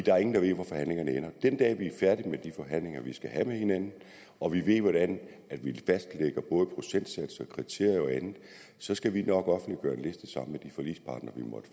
er ingen der ved hvor forhandlingerne ender den dag vi er færdige med de forhandlinger vi skal have med hinanden og vi ved hvordan vi fastlægger både procentsatser og kriterier og andet så skal vi nok offentliggøre